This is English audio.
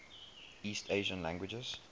east asian languages